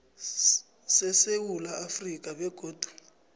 sesewula afrika begodu